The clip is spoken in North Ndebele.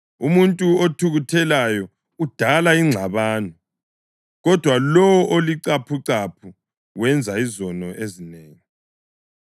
Umuntu othukuthelayo udala ingxabano, kodwa lowo olicaphucaphu wenza izono ezinengi.